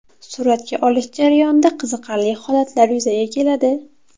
Suratga olish jarayonida qiziqarli holatlar yuzaga keladi.